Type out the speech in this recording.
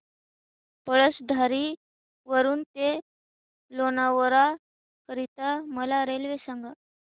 पळसधरी वरून ते लोणावळा करीता मला रेल्वे सांगा